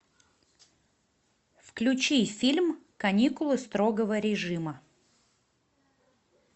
включи фильм каникулы строгого режима